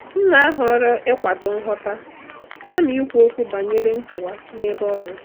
M na-ahọrọ ịkwado nghọta kama ikwu okwu banyere nkewa n’ebe ọrụ.